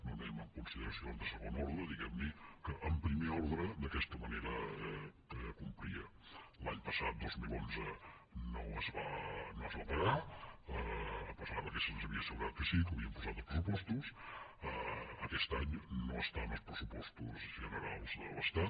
no anem amb consideracions de segon ordre diguem ne que en primer ordre d’aquesta manera que complia l’any passat dos mil onze no es va pagar a pesar que se’ns havia assegurat que sí que ho havien posat en els pressupostos aquest any no està en els pressupostos generals de l’estat